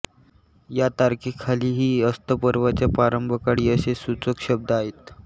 या तारखेखालीही अस्तपर्वाच्या प्रारंभकाळी असे सूचक शब्द आहेत